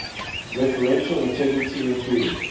referential integrity including